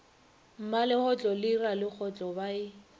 mmalegotlo le ralegotlo ba e